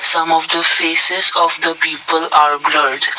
some of the faces of the people are blurred.